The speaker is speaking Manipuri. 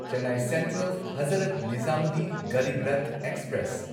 Chennai central Hazrat Nizamuddin Garib Rath express